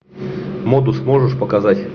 модус можешь показать